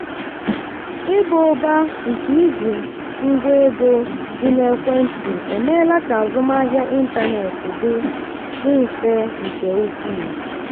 ịba ụba nke iji ngwa ego dị na ekwentị emeela ka azụmahịa ịntanetị dị dị mfe nke ukwuu.